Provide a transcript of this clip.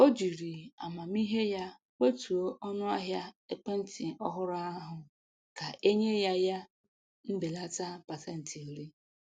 O jiri amamihe ya kwetuo onu ahia ekwentị ọhụrụ ahụ ka e nye ya ya mbelata pasentị iri